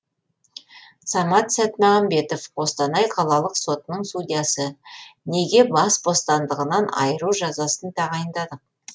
самат сәтмағанбетов қостанай қалалық сотының судьясы неге бас бостандығынан айыру жазасын тағайындадық